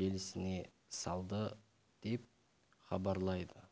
желісіне салды деп хабарлайды